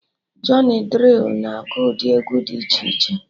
Jọny Drịl na agụ ụdị egwu dị iche iche